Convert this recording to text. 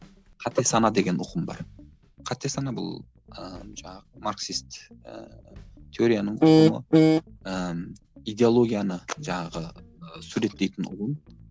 қате сана деген ұғым бар қате сана бұл ыыы жаңағы марксист ыыы теорияның ыыы идеологияны жаңағы ы суреттейтін ұғым